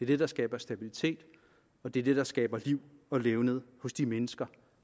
det der skaber stabilitet og det er det der skaber liv og levned hos de mennesker